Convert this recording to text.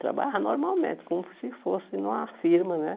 Trabalhava normalmente, como se fosse numa firma, né?